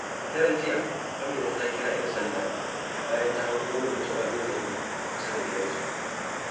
A daren jiya, Amina ta kira ƴan sanda bayan ta hango wani mutum abin zargi kusa da gidansu.